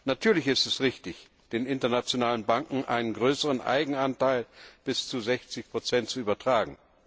Natürlich ist es richtig, den internationalen Banken einen größeren Eigenanteil bis zu 60 zu übertragen.